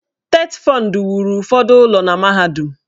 TETFUND wuru ụfọdụ ụlọ na mahadum.